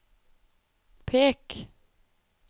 pek